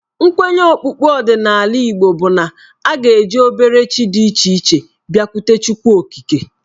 Nkwenye okpukpe ọdịnala Igbo bụ na a ga-eji obere chi dị iche iche abịakwute Chukwuokike.